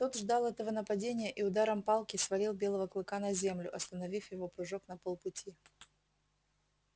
тот ждал этого нападения и ударом палки свалил белого клыка на землю остановив его прыжок на полпути